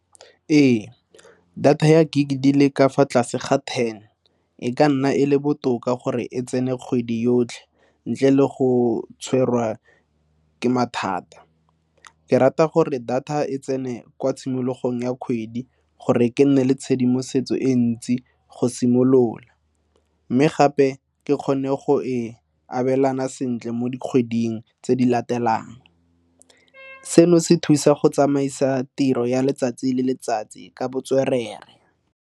Ee, data ya gig di le ka fa tlase ga ten e ka nna e le botoka gore e tsene kgwedi yotlhe ntle le go tshwarwa ke mathata. Ke rata gore data e tsene kwa tshimologong ya kgwedi gore ke nne le tshedimosetso e ntsi go simolola mme gape ke kgone go e abelana sentle mo dikgweding tse di latelang. Seno se thusa go tsamaisa tiro ya letsatsi le letsatsi ka botswerere.